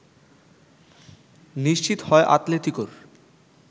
নিশ্চিত হয় আতলেতিকোর